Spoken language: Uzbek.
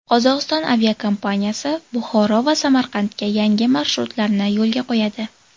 Qozog‘iston aviakompaniyasi Buxoro va Samarqandga yangi marshrutlarni yo‘lga qo‘yadi.